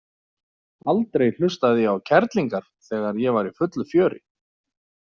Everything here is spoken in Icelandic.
Aldrei hlustaði ég á kerlingar þegar ég var í fullu fjöri.